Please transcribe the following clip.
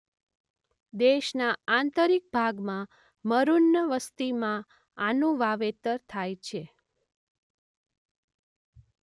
દેશના આંતરીક ભાગમાં મરૂન વસ્તીમાં આનું વાવેતર થાય છે.